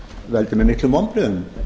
veldur mér miklum vonbrigðum